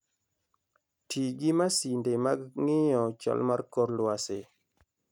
Ti gi masinde mag ng'iyo chal mar kor lwasi.